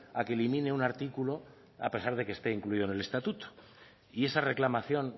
a que elimine un artículo a pesar de que esté incluido en el estatuto y esa reclamación